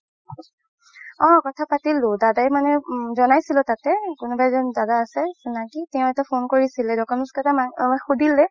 অ কথা পাতিলো দাদা মানে উম জনাইছিলে তাতে কোনোবা এজন দাদা আছে চিনাকি তেও এটা phone কৰিছিল documents কেইটা শুধিলে